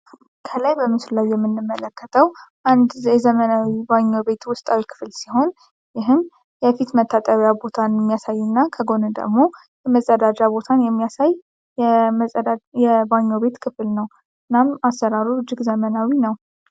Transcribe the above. ከላይ በምስሉ ላይ የምመለከተው አንድ የዘመናዊ ባኞ ቤት ውስጣዊ ክፍል ሲሆን፤ ይህም የፊት መታጠቢያ ቦታን የሚያሳይ እና ከጎን ደግሞ የመጸዳጃ ቦታ የሚያሳይ የባኞ ቤት ክፍል ነው። እናም አሰራሩ እጅግ ዘመናዊ ነው።